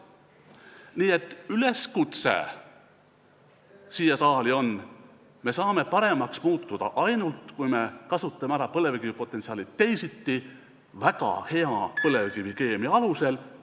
Nii et üleskutse sellele saalile on see: me saame paremaks muutuda ainult siis, kui me kasutame põlevkivi potentsiaali ära teisiti, väga hea põlevkivikeemia alusel.